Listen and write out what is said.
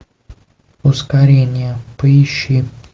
ускорение поищи